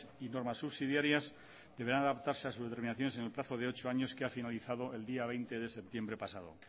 y normas subsidiarias deberán adaptarse a sus determinaciones en el plazo de ocho años que ha finalizado el día veinte de septiembre pasado